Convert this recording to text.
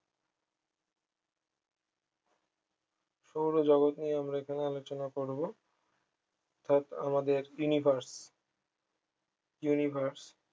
সৌরজগত নিয়ে আমরা এখানে আলোচনা করবো অর্থাৎ আমাদের universe universe